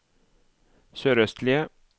sørøstlige